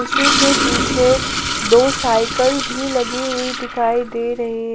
उसी के पीछे दो साइकिल भी लगी हुई दिखाई दे रही हैं।